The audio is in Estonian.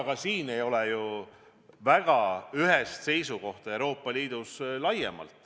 Ka siin ei ole ju Euroopa Liidus laiemalt väga ühest seisukohta.